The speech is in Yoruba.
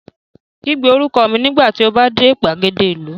Kígbe orúkọ mi nígbà tí o bá dé gbàgede ìlú